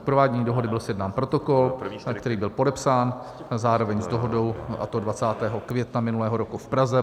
K provádění dohody byl sjednán protokol, který byl podepsán zároveň s dohodou, a to 20. května minulého roku v Praze.